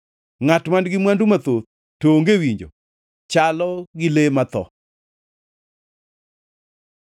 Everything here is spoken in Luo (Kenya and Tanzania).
Ngʼat man-gi mwandu mathoth to onge winjo, chalo gi le ma otho.